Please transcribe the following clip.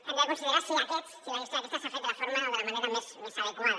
hem de considerar si aquests si la gestió d’aquests s’ha fet de la forma o de la manera més adequada